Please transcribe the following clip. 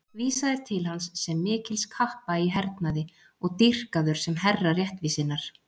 Vísað er til hans sem mikils kappa í hernaði og dýrkaður sem herra réttvísinnar.